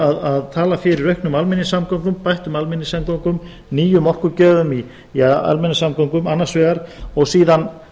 að tala fyrir auknum almenningssamgöngum bættum almenningssamgöngum nýjum orkugjöfum í almenningssamgöngum annars vegar og síðan